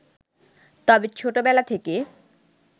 তবে ছোটবেলা থেকে